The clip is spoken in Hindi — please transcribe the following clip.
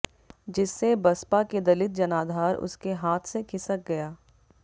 जिससे बसपा के दलित जनाधार उसके हाथ से खिसक गया